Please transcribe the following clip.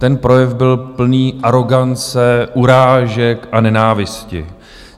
Ten projev byl plný arogance, urážek a nenávisti.